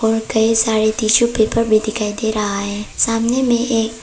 और कई सारे टिशू पेपर भी दिखाई दे रहा है सामने में एक--